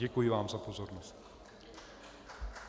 Děkuji vám za pozornost.